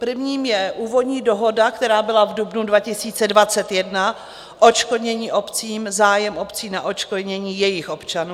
Prvním je úvodní dohoda, která byla v dubnu 2021, odškodnění obcím, zájem obcí na odškodnění jejich občanů.